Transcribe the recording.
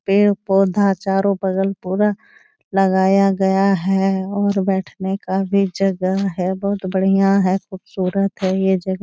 पेड़-पौधा चारो बगल पूरा लगाया गया है और बैठने का भी जगह है बहुत बढ़िया है ख़ूबसूरत है ये जगह --